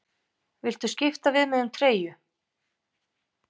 Viltu skipta við mig um treyju?